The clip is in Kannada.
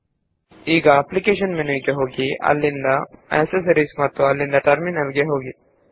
ಈಗ ಅಪ್ಲಿಕೇಶನ್ಸ್ ಜಿಟಿಯ ಆಕ್ಸೆಸರೀಸ್ ಜಿಟಿಯ ಟರ್ಮಿನಲ್ ಗೆ ಹೋಗಿ